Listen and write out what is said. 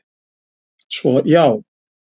Svo, já!